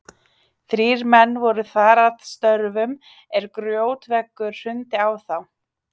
Þrír menn voru þar að störfum er grjótveggur hrundi á þá.